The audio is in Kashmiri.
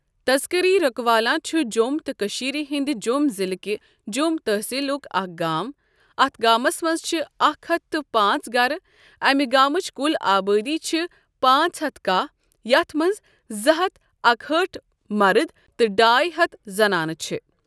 تذکری رکوالاں چھُ جۆم تہٕ کٔشیٖر ہٕنٛدِ جۆم ضِلہٕ کہِ جۆم تَحصیٖلُک اَکھ گام اَتھ گامَس مَنٛز چھِ اکھ ہتھ تہٕ پانٛژ گَرٕ اَمہِ گامٕچ کُل آبٲدی چھِ پانٛژ ہتھ کَہہ یَتھ مَنٛز زٕ ہتھ اکہِ ہأٹھ مَرٕد تہٕ ڈاے ہتھ زَنانہٕ چھِ ۔